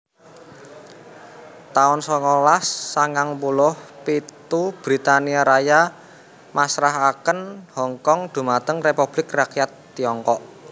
taun songolas sangang puluh pitu Britania Raya masrahaken Hongkong dhumateng Republik Rakyat Tiongkok